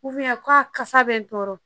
ka kasa bɛ n tɔɔrɔ